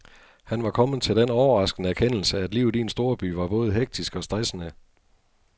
Han var kommet til den overraskende erkendelse, at livet i en storby var både hektisk og stressende.